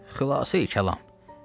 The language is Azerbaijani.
Xülasəyi-kəlam.